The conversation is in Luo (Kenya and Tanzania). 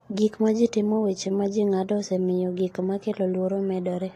Gik ma ji timo Weche ma ji ng’ado osemiyo gik ma kelo luoro medore.